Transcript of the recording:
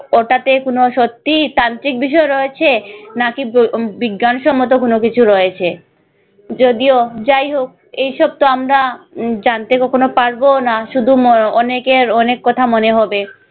ওটাতে কোন সত্যিই তান্ত্রিক বিষয় রয়েছে নাকি ব~ বিজ্ঞানসম্মত কোন কিছু রয়েছে যদিও যাই হোক এই সবতো আমরা জানতে কখনো পারবোনা শুধু অনেকের অনেক কথা মনে হবে।